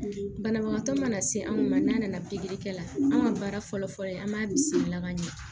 Banabagatɔ mana se anw ma n'a nana pikiri kɛ la an ka baara fɔlɔ-fɔlɔ ye an b'a bisimila ka ɲɛ